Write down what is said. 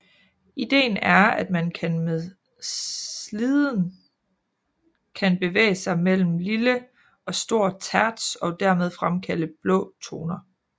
Ideen er at man kan med sliden kan bevæge sig mellem lille og stor terts og dermed fremkalde blå toner